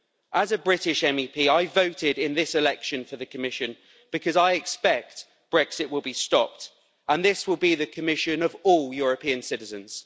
As a British MEP, I voted in this election for the Commission because I expect Brexit will be stopped, and this will be the Commission of all European citizens.